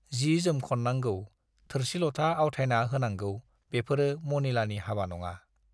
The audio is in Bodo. जि-जोम खननांगौ, थोरसि-लथा आवथायना होनांगौ बेफोरो मनिलानि हाबा नङा।